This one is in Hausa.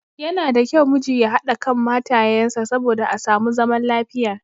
Yana da kyau miji ya haɗa kan matayen sa saboda a samu zaman lafiya.